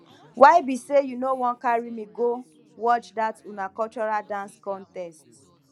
why be say you no wan carry me go watch that una cultural dance contest